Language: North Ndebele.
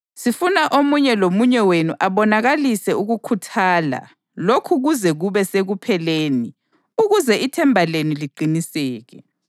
Sifuna omunye lomunye wenu abonakalise ukukhuthala lokhu kuze kube sekupheleni ukuze ithemba lenu liqiniseke.